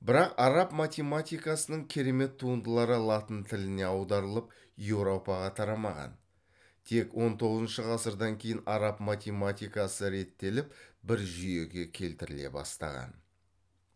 бірак араб математикасының керемет туындылары латын тіліне аударылып еуропаға тарамаған тек он тоғызыншы ғасырдан кейін араб математикасы реттеліп бір жүйеге келтіріле бастаған